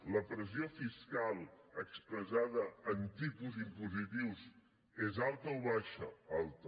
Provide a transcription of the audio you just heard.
la pressió fiscal expressada en tipus impositius és alta o baixa alta